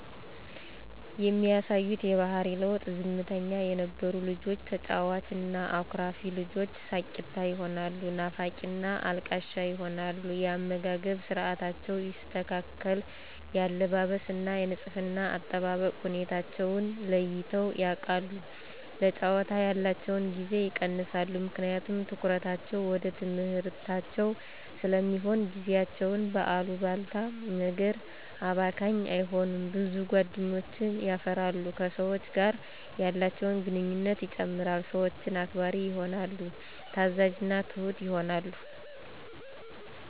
የሚያሳዩት የባሕሪ ለዉጥ፦ ዝምተኛ የነበሩ ልጆች ተጫዋች እና አኩራፊ ልጆች ሳቂታ ይሆናሉ ናፋቂና አልቃሻ ይሆናሉ። የአመጋገብ ስርዓታቸው ይስተካከል፣ የአለባበስ እና የንጽሕና አጠባበቅ ሁኔታወችን ለይተዉ ያቃሉ፣ ለጫወታ ያላቸዉን ጊዜ ይቀንሳሉ ምክንያቱም ትኩረታቸዉ ወደ ትምሕርታቸዉ ስለሚሆን፣ ጊዜያቸዉን በአሉባልታ ነገር አባካኝ አይሆኑም፣ ብዙ ጓደኞችን የፈራሉ፣ ከሰወች ጋር ያላቸውን ግንኙነት ይጨምራል፣ ሰወችን አክባሪ ይሆናሉ፣ ታዛዥና ትሁት ይሆናሉ።